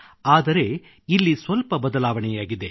ಆದರೆ ಇಲ್ಲಿ ಸ್ವಲ್ಪ ಬದಲಾವಣೆಯಾಗಿದೆ